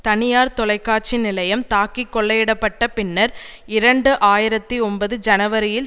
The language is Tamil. தனியார் தொலைக்காட்சி நிலையம் தாக்கி கொள்ளையிடப்பட்ட பின்னர் இரண்டு ஆயிரத்தி ஒன்பது ஜனவரியில்